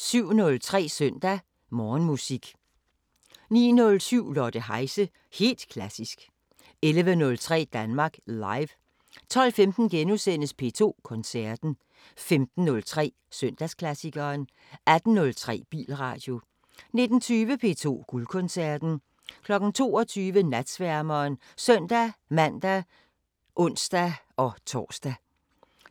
07:03: Søndag Morgenmusik 09:07: Lotte Heise – helt klassisk 11:03: Danmark Live 12:15: P2 Koncerten * 15:03: Søndagsklassikeren 18:03: Bilradio 19:20: P2 Guldkoncerten 22:00: Natsværmeren (søn-man og ons-tor)